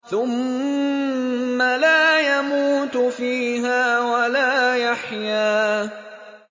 ثُمَّ لَا يَمُوتُ فِيهَا وَلَا يَحْيَىٰ